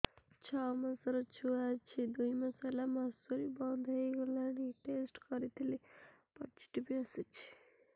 ଛଅ ମାସର ଛୁଆ ଅଛି ଦୁଇ ମାସ ହେଲା ମାସୁଆରି ବନ୍ଦ ହେଇଗଲାଣି ଟେଷ୍ଟ କରିଥିଲି ପୋଜିଟିଭ ଆସିଛି